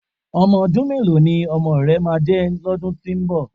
Ọmọ ọdún mélòó ni ọmọ rẹ máa jẹ́ lọ́dún tí ń bọ̀?